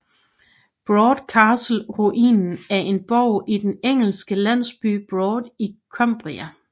Brough Castle ruinen af en borg i den engelske landsby Brough i Cumbria